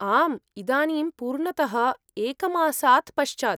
आम्, इदानीं पूर्णतः एकमासात् पश्चात्।